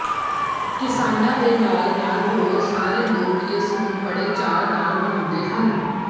ਕਿਸਾਨਾ ਦੇ ਨਾਲ ਨਾਲ ਹੋਰ ਸਾਰੇ ਲੋਕ ਇਸ ਨੂੰ ਬੜ੍ਹੇ ਚਾਅ ਨਾਲ ਮਨਾਉਦੇ ਹਨ